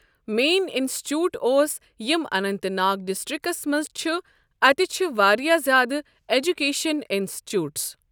Main institute اوس یِم Anant Nag districts منٛز چھُ اتہِ چھِ واریاہ زیادٕ اٮ۪جکیشن انسچوٗٹٕس.